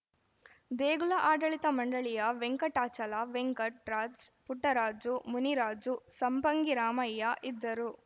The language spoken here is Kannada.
ದೇಗುಲ ಆಡಳಿತ ಮಂಡಳಿಯ ವೆಂಕಟಾಚಲ ವೆಂಕಟ್ ರಾಜ್ ಪುಟ್ಟರಾಜು ಮುನಿರಾಜು ಸಂಪಂಗಿರಾಮಯ್ಯ ಇದ್ದರು